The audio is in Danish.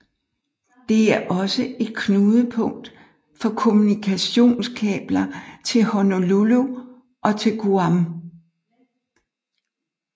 Det er også et knudepunkt for kommunikationskabler til Honolulu og til Guam